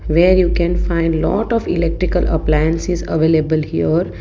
where you can find lot of electrical appliances available here.